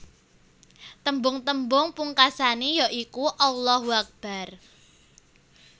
Tembung tembung pungkasané ya iku Allahu Akbar